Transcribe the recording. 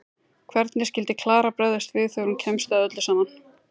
Hvernig skyldi Klara bregðast við þegar hún kemst að öllu saman?